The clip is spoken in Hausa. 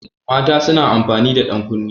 Mata suna amfani da ɗankunne.